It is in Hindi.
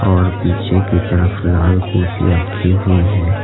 और पीछे की तरफ लाल कुर्सी रखी हुईं है।